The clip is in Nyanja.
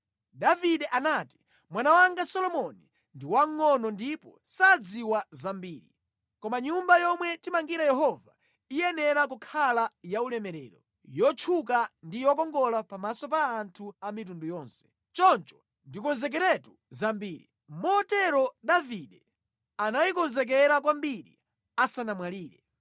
Davide anati, “Mwana wanga Solomoni ndi wamngʼono ndipo sadziwa zambiri. Koma nyumba yomwe timangire Yehova iyenera kukhala yaulemerero, yotchuka ndi yokongola pamaso pa anthu a mitundu yonse. Choncho ndikonzekeratu zambiri.” Motero Davide anayikonzekera kwambiri asanamwalire.